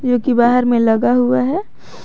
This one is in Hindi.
जो कि बाहर में लगा हुआ है।